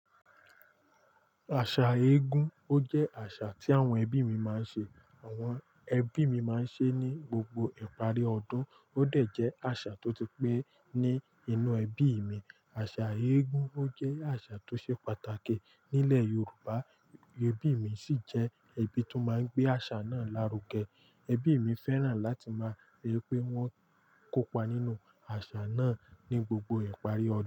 Àṣà éégún, ó jẹ́ àṣà tí àwọn ẹbí mi máa ń ṣe. Àwọn ẹbí mi máa ń ṣe é ní gbogbo ìparí ọdún. Ó dà jẹ́ àṣà tó ti pé ní inú ẹbí mi. Àṣà éégúngun jẹ́ àṣà tó ṣe pàtàkì nílẹ̀ Yorùbá. Ẹbí mi sì jẹ́ ẹbí tó máa ń gbé àṣà náà lárugẹ. Ẹbí mi fẹ́ràn láti máa rí pé wọ́n kópa nínú àṣà náà ní gbogbo ìparí ọdún.